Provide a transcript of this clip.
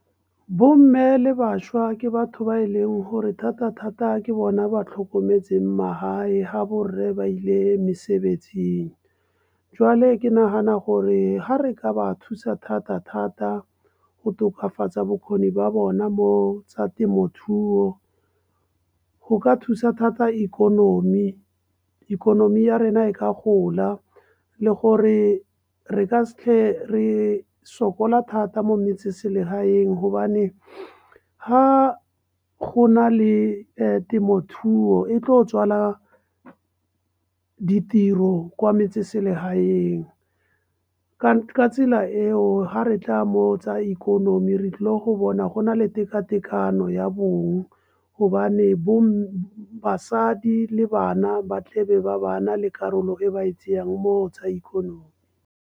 Bomme le bašwa ke batho ba e leng gore thata-thata ke bona ba tlhokometseng magae ga bo reye ba ile mesebetsing. Jwale ke nagana gore ga re ka ba thusa thata- thata go tokafatsa bokgoni ba bona mo tsa temothuo. Go ka thusa thata ikonomi, ikonomi ya rena e ka gola, le gore re ka ke re sokola thata mo metseselegaeng. Gobane ha go na le temothuo e tlo tswala ditiro kwa metseselegaeng. Ka tsela eo ga re tla mo tsa ikonomi re tlo bona go na le tekatekano ya bong gobane basadi le bana batle be ba ba na le karolo e ba e mo go tsa ikonomi.